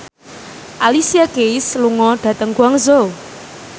Alicia Keys lunga dhateng Guangzhou